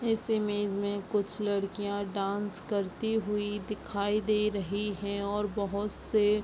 इस इमेज में कुछ लड़कियाँ डान्स करती हुई दिखाई दे रही है और बहोत से --